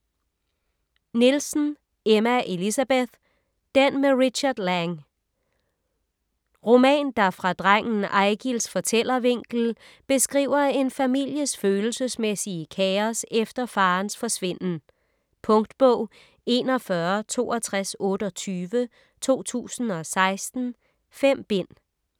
Nielsen, Emma Elisabeth: Den med Richard Lange Roman, der fra drengen Eigils fortællervinkel beskriver en families følelsesmæssige kaos efter farens forsvinden. Punktbog 416228 2016. 5 bind.